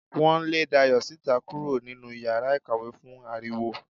Wo lè Dayo sítá kúrò nínú iyàrá ìkàwé fún aríwó